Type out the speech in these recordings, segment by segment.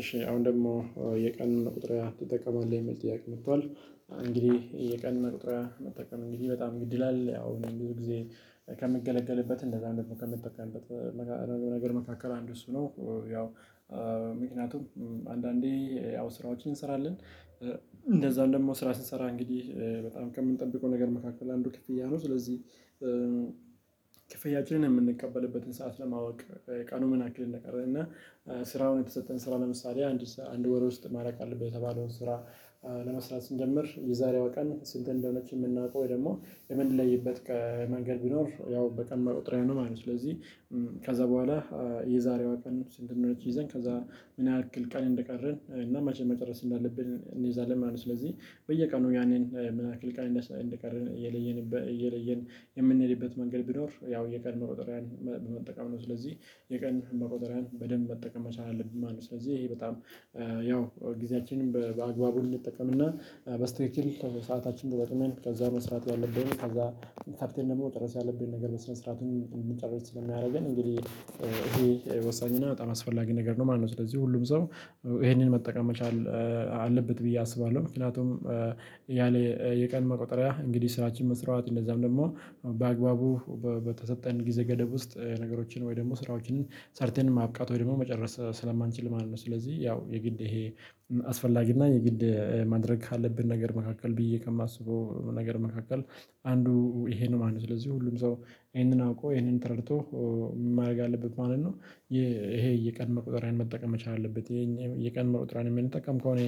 እሺ አሁን ደግሞ የቀን መቁጠርያ ትጠቀማለህ? የሚል ጥያቄ ነው እንግዲህ የቀን መቁጠርያ መጠቀም እንግዲህ በጣም ግድ ይላል ያው ብዙ ጊዜ ከምገለገልበት እንደዛም ደግሞ ከምጠቀምበት ነገር መካከል አንድ እሱ ነው ያው ምክንያቱም አንዳንዴ ያው ስራዎችን እንሰራለን እንደዛም ደግሞ ስራ ስንሰራ እንግዲህ በጣም ከምንጠብቀው ነገር መካከል አንዱ ክፍያ ነው። ስለዚህ ክፍያችንን የምንቀበልበትን ሰዓት ለማወቅ ቀኑን ምን ያክል እንደቀረ እና ስራውን የተሰጠን ስራ ለምሳሌ አንድ ወር ውስጥ ማለቅ አለበት የተባለውን ስራ ለመስራት ስንጀምር የዛሬዋ ቀን ስንት እንደሆነች የምናውቀው ወይ ደግሞ የምንለይበት ቀን መንገድ ቢኖር ያው በቀን መቁጠርያ ነው ማለት ነው ስለዚህ ከዛ በኋላ የዛሬዋ ቀን ስንት እንደሆነች ይዘን ከዛ ምን ያህል ቀን እንደቀረን እና መቼ መጨረስ እንዳለብን እንይዛለን ማለት ነው። ስለዚህ በየቀኑ ያንን ምን ያክል ቀን እንደቀረን እየለየን እየለየን የምንሄድበት መንገድ ቢኖር ያው የቀን መቁጠሪያን በመጠቀም ነው። ስለዚህ የቀን መቆጠሪያን በደንብ መጠቀም መቻል አለብኝ ማለት ነው። ስለዚህ ይሄ በጣም ያው ጊዜያችንን በአግባቡ እንድንጠቀምና በትትክል ሰአታችንን ተጠቅሜን ከዛ መስራት ያለብን ከዛ ፈጥነን ደግሞ መጨረስ ያለብንን ነገር በስነ ስርዓቱን እንድንጨርስ ስለሚያደርገን እንግዲህ ይሄ ወሳኝና በጣም አስፈላጊ ነገር ነው ማነው። ስለዚህ ሁሉም ሰው ይሄንን መጠቀም መቻል አለበት ብዬ አስባለሁ። ምክንያቱም ያለ የቀን መቁጠሪያ እንግዲህ ስራችን መስራት እንደዛም ደግሞ በአግባቡ በተሰጠን ጊዜ ገደብ ውስጥ ነገሮችን ወይ ደግሞ ስራዎችን ሰርተን ማብቃት ወይ ደግሞ መጨረስ ስለማንችል ማን ነው። ስለዚህ ያው የግድ ይሄ አስፈላጊ እና የግድ ማድረግ ካለብን ነገር መካከል ብዬ ከማስበው ነገር መካከል አንዱ ይሄ ነው ማለት ነው። ስለዚህ ሁሉም ሰው ይሄንን አውቆ ይሄንን ተረድቶ ማድረግ አለበት ማለት ነው። ይሄ የቀን መቁጠሪያን መጠቀም መቻል አለበት። ይሄን የቀን መቁጠሪያን የሚንጠቀም ከሆነ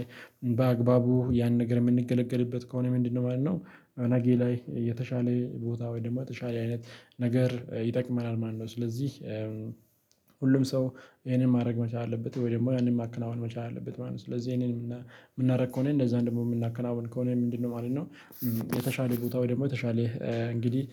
በአግባቡ ያን ነገር የምንገለገልበት ከሆነ ምንድነው ማለት ነው ነገ ላይ የተሻለ ቦታ ወይም ደግሞ የተሻለ አይነት ነገር ይጠቅመናል ማነው። ስለዚህ ሁሉም ሰው ይሄንን ማድረግ መቻል አለበት ወይ ደግሞ ያንን ማከናወን መቻል አለበት ማለት ነው። ስለዚህ ይሄንን የምናደርግ ከሆነ እንደዛ ደግሞ የምናከናውን ከሆነ ምንድነው ማለት ነው የተሻለ ቦታው ደግሞ የተሻለ እንግዲህ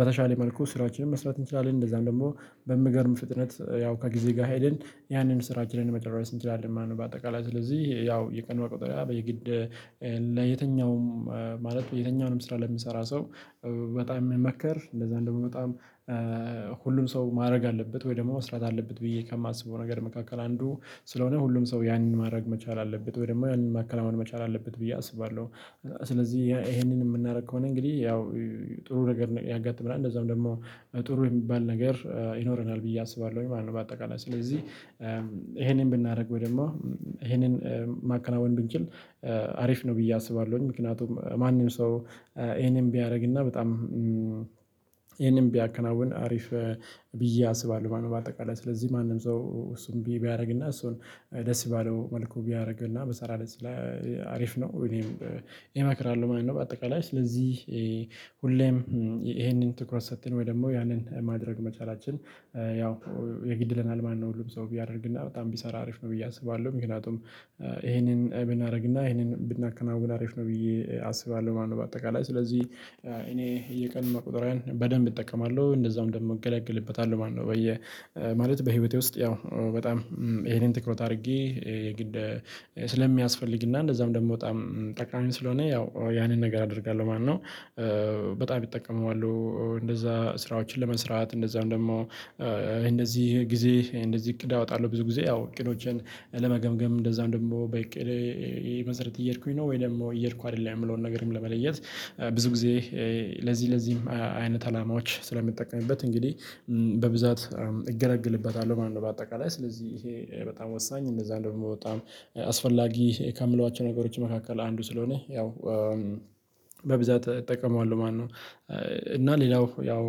በተሻለ መልኩ ስራዎችን መስራት እንችላለን። እንደዛም ደግሞ በምገርም ፍጥነት ያው ከጊዜ ጋር ሄደን ያንን ስራችንን መጨረስ እንችላለን ማለት ነው። በአጠቃላይ ስለዚህ ያው የቀን መቁጠርያ በየግድ ለየትኛውም ማለት የተኛውንም ስራ ለሚሰራ ሰው በጣም የሚመከር እንደዛ እንደውም በጣም ሁሉም ሰው ማድረግ አለበት ወይ ደግሞ መስራት አለበት ብዬ ከማስበው ነገር መካከል አንዱ ስለሆነ ሁሉም ሰው ያንን ማድረግ መቻል አለበት። ወይ ደግሞ ያንን ማከናወን መቻል አለበት ብዬ አስባለሁ። ስለዚህ ይሄንን የምናደርግ ከሆነ እንግዲህ ያው ጥሩ ነገር ያጋጥመናል እንደዛውም ደግሞ ጥሩ የሚባል ነገር ይኖረናል ብዬ አስባለሁኝ ማለት ነው። በአጠቃላይ ስለዚህ ይሄንን ብናደርገው ደግሞ ይሄንን ማከናወን ብንችል አሪፍ ነው ብዬ አስባለሁኝ። ምክንያቱም ማንም ሰው ይሄንን ቢያደርግና በጣም ይሄንም ቢያከናውን አሪፍ ብዬ አስባለሁ ማለት ነው። በአጠቃላይ ስለዚህ ማንም ሰው እሱም ቢያደርግና እሱን ደስ ባለው መልኩ ቢያደርግና በሰራ ደስ ይላል። አሪፍ ነው እኔም ይመክራሉ ማለት ነው። በአጠቃላይ ስለዚህ ሁሌም ይሄንን ትኩረት ሰጥተን ወይ ደግሞ ያንን ማድረግ መቻላችን ያው የግድ ይለናል ማነው። ሁሉም ሰው ቢያደርግና በጣም ቢሰራ አሪፍ ነው ብዬ አስባለሁ። ምክንያቱም ይሄንን ብናደርግና ይሄንን ብናከናውን አሪፍ ነው ብዬ አስባለሁ ማለት ነው። በአጠቃላይ ስለዚህ እኔ የቀን መቁጠሪያን በደንብ እጠቀማለሁ እንደዛውም ደግሞ እገለግልበታለሁ ማነው። በየ ማለት በህይወቴ ውስጥ ያው በጣም ይሄንን ትኩረት አድርጌ የግድ ስለሚያስፈልግና እንደዛም ደግሞ በጣም ጠቃሚ ስለሆነ ያው ያንን ነገር አደርጋለሁ ማነው። በጣም እጠቀመዋለሁ እንደዛ ስራዎችን ለመስራት እንደዛም ደግሞ እንደዚህ ጊዜ እንደዚህ እቅድ አወጣለሁ ብዙ ጊዜ ያው እቅዶቼን ለመገምገም እንደዛም ደግሞ በእቅዴ መሰረት እየሄድኩኝ ነው ወይ ደግሞ እየሄድኩ አይደለም የምለውን ነገርም ለመለየት ብዙ ጊዜ ለዚህ ለዚህም አይነት አላማዎች ስለሚጠቀምበት እንግዲህ በብዛት እገራግልበታለሁ ማለት ነው። በአጠቃላይ ስለዚህ ይሄ በጣም ወሳኝ እንደዛ ደግሞ በጣም አስፈላጊ ከምላቸው ነገሮች መካከል አንዱ ስለሆነ ያው በብዛት እጠቀመዋለሁ ማነው። እና ሌላው ያው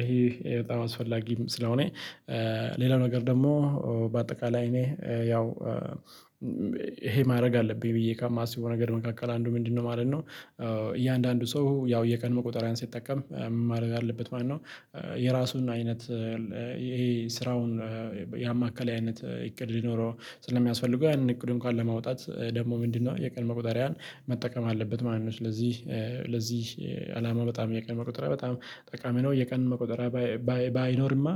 ይሄ በጣም አስፈላጊም ስለሆነ ሌላው ነገር ደግሞ በአጠቃላይ እኔ ያው ይሄ ማድረግ አለብኝ ብዬ ከማስበው ነገር መካከል አንዱ ምንድነው ማለት ነው? እያንዳንዱ ሰው ያው የቀን መቆጠሪያን ሲጠቀም ማለት አለበት ማለት ነው? የራሱን አይነት ይሄ ስራውን ያማካሌ አይነት ይቅድ ሊኖረው ስለሚያስፈልገው ያንን እቅዱን ካለ ማውጣት ደግሞ ምንድነው የቀን መቁጠሪያን መጠቀም አለበት ማለት ነው። ስለዚህ ለዚህ አላማ በጣም የቀን መቆጠሪያ በጣም ጠቃሚ ነው። የቀን መቆጠሪያ ባይኖርማ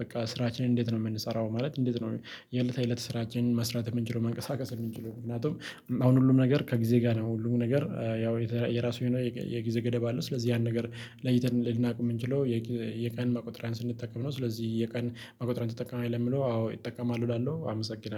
በቃ ስራችንን እንዴት ነው የምንሰራው ማለት እንዴት ነው የእለት የእለት ስራችን መስራት የምንችለው መንቀሳቀስ የምንችለው ምክንያቱም አሁን ሁሉም ነገር ከጊዜ ጋር ነው ሁሉም ነገር ያው የራሱ የሆነ የጊዜ ገደብ አለው። ስለዚህ ያን ነገር ለይተን ልናውቅ የምንችለው የቀን መቁጠሪያን ስንጠቀም ነው። ስለዚህ የቀን መቁጠርያን ትጠቀማለህ? ለሚለው አዎ እጠቀማለሁ እላለሁ አመሰግናለሁ።